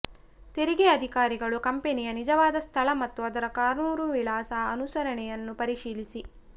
ತೆರಿಗೆ ಅಧಿಕಾರಿಗಳು ಕಂಪನಿಯ ನಿಜವಾದ ಸ್ಥಳ ಮತ್ತು ಅದರ ಕಾನೂನು ವಿಳಾಸ ಅನುಸರಣೆಯನ್ನು ಪರಿಶೀಲಿಸಿ